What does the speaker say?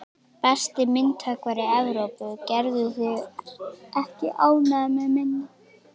Besti myndhöggvari Evrópu, gerðu þig ekki ánægða með minna.